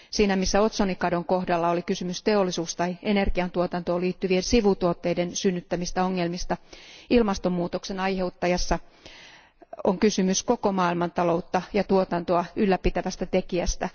Siinä, missä otsonikadon kohdalla oli kysymys teollisuus tai energiantuotantoon liittyvien sivutuotteiden synnyttämistä ongelmista, ilmastomuutoksen aiheuttajassa on kysymys koko maailmantaloutta ja tuotantoa ylläpitävästä tekijästä.